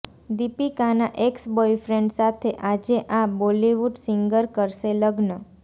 દીપિકાના ex boyfriend સાથે આજે આ બોલિવૂડ સિંગર કરશે લગ્ન